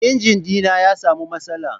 injina dina ya samu matsala.